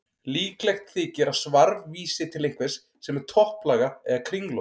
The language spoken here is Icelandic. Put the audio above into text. Líklegt þykir að svarf vísi til einhvers sem er topplaga eða kringlótt.